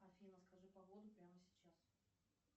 афина скажи погоду прямо сейчас